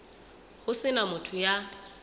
ho se na motho ya